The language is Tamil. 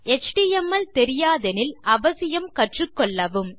எச்டிஎம்எல் தெரியாதெனில் அவசியம் கற்றுக்கொள்ளவும்